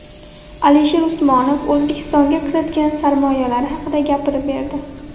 Alisher Usmonov O‘zbekistonga kiritgan sarmoyalari haqida gapirib berdi.